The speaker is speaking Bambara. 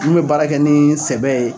Min bɛ baara kɛ ni sɛbɛ ye.